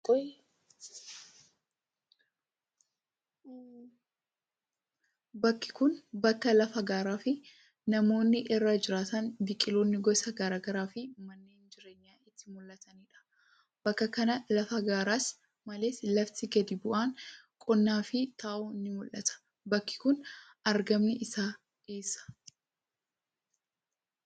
Bakki kun, bakka lafa gaaraa fi namoonni irra jiraatan biqiloonni gosa garaa garaa fi manneen jireenyaa itti mul'atanii dha. Bakka kana lafa gaaraa malees, lafti gadi bu'aan qonnaaf ta'u ni mul'ata. Bakki kun argamni isaa eessa?